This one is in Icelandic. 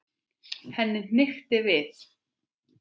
Henni hnykkti við.